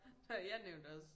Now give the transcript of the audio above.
Jeg nævnte også